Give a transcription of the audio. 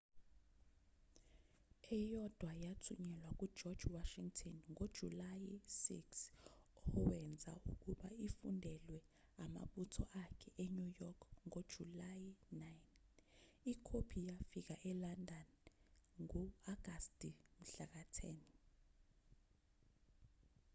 eyodwa yathunyelwa kugeorge washington ngojulayi 6 owenza ukuba ifundwelwe amabutho akhe enew york ngojulayi 9 ikhophi yafika elondon ngo-agasti 10